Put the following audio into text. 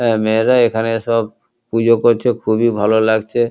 অ্যা মেয়েরা এখানে সব পুজো করছে খুবই ভালো লাগছে।